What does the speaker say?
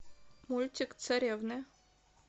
мультик царевны